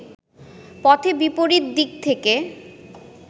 পথে বিপরীত দিক থেকে